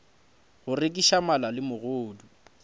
go rekiša mala le megodu